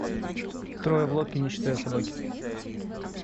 трое в лодке не считая собаки